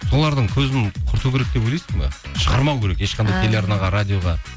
солардың көзін құрту керек деп ойлайсың ба шығармау керек ешқандай телеарнаға радиоға